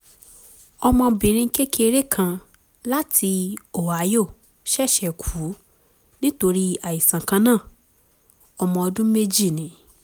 ọmọbìnrin kékeré kan láti ohio ṣẹ̀ṣẹ̀ kú nítorí àìsàn kan náà; ọmọ ọdún méjì ni